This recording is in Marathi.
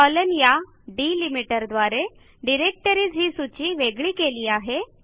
कॉलन या डिलिमिटर द्वारे डिरेक्टरीज ही सूची वेगळी केली आहे